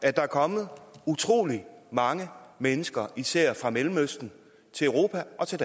at der er kommet utrolig mange mennesker især fra mellemøsten til europa og til